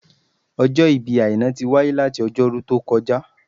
Ọjọ́ ìbí Àìná tí wáyé láti ọjọ́ Ọjọ́rú tó kọjá